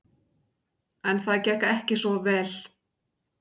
En það gekk ekki svo vel.